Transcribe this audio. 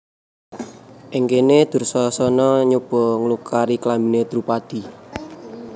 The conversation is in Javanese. Ing kene Dursasana nyoba nglukari klambine Drupadi